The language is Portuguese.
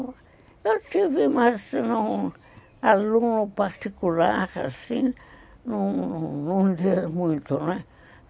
Eu tive mais não, aluno particular, assim, não não rendia muito, né?